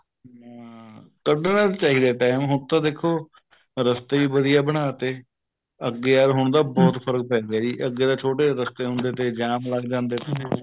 ਹਾਂ ਕੱਢਣਾ ਚਾਹੀਦਾ time ਹੁਣ ਤਾਂ ਦੇਖੋ ਰਸਤੇ ਵੀ ਵਧੀਆ ਬਣਾ ਤੇ ਅੱਗੇ ਯਾਰ ਹੁਣ ਤਾਂ ਬਹੁਤ ਫਰਕ ਪੈਂਦਾ ਅੱਗੇ ਤਾਂ ਛੋਟੇ ਰਸਤੇ ਹੁੰਦੇ ਤੇ ਜਾਮ ਲੱਗ ਜਾਂਦੇ ਤੇ